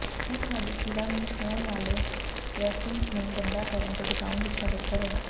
ਇਹ ਤੁਹਾਡੀ ਚੀਰਾ ਨੂੰ ਛੋਹਣ ਵਾਲੇ ਡ੍ਰੈਸਿੰਗਜ਼ ਨੂੰ ਗੰਦਾ ਕਰਨ ਤੋਂ ਬਚਾਉਣ ਵਿੱਚ ਮਦਦ ਕਰੇਗਾ